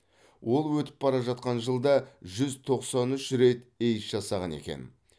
ол өтіп бара жатқан жылда жүз тоқсан үш рет эйс жасаған екен